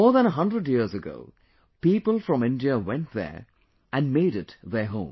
More than a hundred years ago, people from India went there, and made it their home